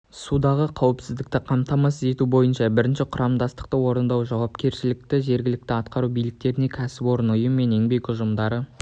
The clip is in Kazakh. судағы қауіпсіздікті қамтамасыз ету бойынша бірінші құрамдастықты орындау жауапкершілігі жергілікті атқару биліктеріне кәсіпорын ұйым еңбек ұжымдары